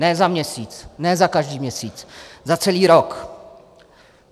Ne za měsíc, ne za každý měsíc - za celý rok.